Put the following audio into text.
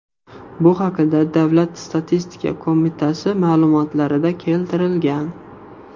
Bu haqda Davlat statistika qo‘mitasi ma’lumotlarida keltirilgan .